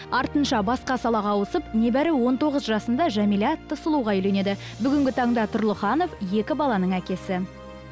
артынша басқа салаға ауысып небәрі он тоғыз жасында жәмилә атты сұлуға үйленеді бүгінгі таңда тұрлыханов екі баланың әкесі